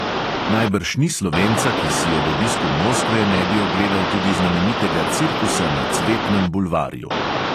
Najbrž ni slovenca, ki si ob obisku moskve ne bi ogledal tudi znamenitega cirkusa na cvetnem bulvarju.